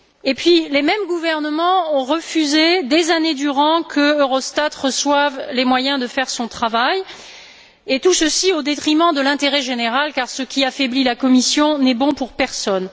mais ces mêmes gouvernements ont refusé des années durant que Eurostat reçoive les moyens de faire son travail, tout ceci au détriment de l'intérêt général, car ce qui affaiblit la Commission n'est bon pour personne.